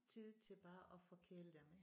Tid til bare at forkæle dem